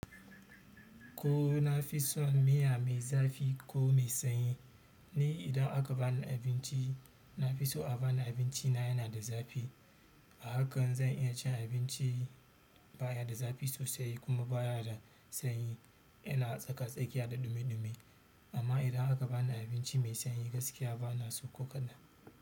Ko na fi son miya mai zafi ko mai sanyi? Ni idan aka bani abinci na fi so a bani abinci na yana da zafi. A hakan zan iya cin abinci ba ya da zafi sosai kuma ba ya da sanyi. Yana tsaka-tsakiya da dumi-dumi. Amma idan aka bani abinci mai sanyi gaskiya bana so ko kaɗan.